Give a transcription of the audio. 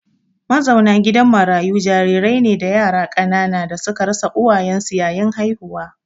Mazauna gidan marayu jarirai ne da yara ƙanana da suka rasa uwayensu yayin haihuwa.